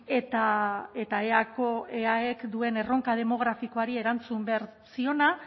eta eaek duen erronka demografikoari erantzun behar ziona